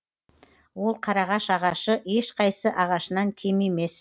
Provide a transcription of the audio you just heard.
ол қарағаш ағашы ешқайсы ағашынан кем емес